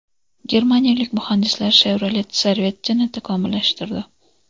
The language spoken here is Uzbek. Germaniyalik muhandislar Chevrolet Corvette’ni takomillashtirdi.